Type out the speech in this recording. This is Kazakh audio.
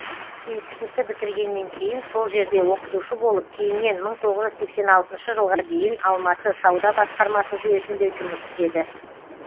институтты бітіргеннен кейін сол жерде оқытушы болып кейіннен мың тоғыз жүз сексен алтыншы жылға дейін алматы сауда басқармасы жүйесінде жұмыс істеді